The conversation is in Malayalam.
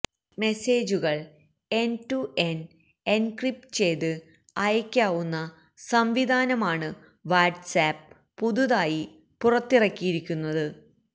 മെസേജുകള് എന്റ് ടു എന്റ് എന്ക്രിപ്റ്റ് ചെയ്ത് അയയ്ക്കാവുന്ന സംവിധാനമാണ് വാട്ട്സ്ആപ്പ് പുതുതായി പുറത്തിറക്കിയിരിക്കുന്നത്